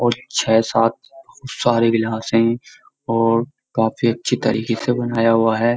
और छह सात सारे गिलास हैं और काफी अच्छी तरीके से बनाया हुआ है --